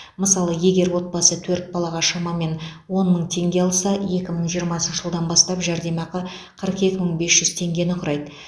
мысалы егер отбасы төрт балаға шамамен он мың теңге алса екі мың жиырмасыншы жылдан бастап жәрдемақы қырық екі мың бес жүз теңгені құрайды